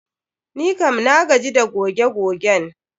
Nikam na gaji da goge gogen.